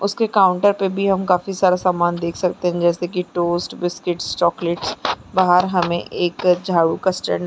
उसके काउंटर पे भी हम सारा समान देख सकते है जैसे की टोस्ट बिस्किट्स चॉकलेट्स बाहर हमें एक झाडू का स्टैंड --